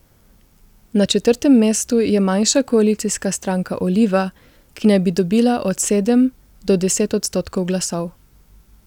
Na četrtem mestu je manjša koalicijska stranka Oliva, ki naj bi dobila od sedem do deset odstotkov glasov.